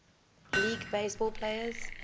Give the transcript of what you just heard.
league baseball players